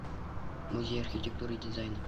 музей архитектуры и дизайна